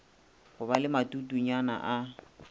go ba le matutenyana a